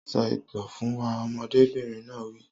Sọ ìtàn fún wa, ọmọdébìnrin náà yóò wí